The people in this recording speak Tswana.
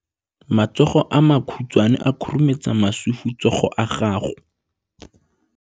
Matsogo a makhutshwane a khurumetsa masufutsogo a gago.